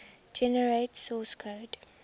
generate source code